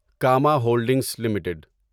Cama holdings limited